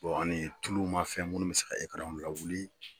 ani tulumafɛn minnu bɛ se ka lawuli